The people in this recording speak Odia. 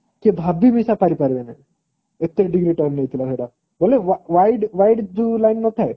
କିଏ ଭାବି ବି ଏସା ପାରି ପାରିଲେ ନାହିଁ ଏତେ degree turn ନେଇଥିଲା ସେଟା ବୋଲେwide wide ଯୋଉ line ନଥାଏ